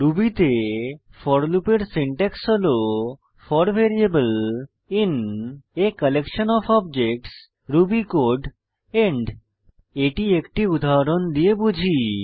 Ruby তে for লুপের syntax হল for variable in a collection of objects Ruby code end এটি একটি উদাহরণ দিয়ে বুঝি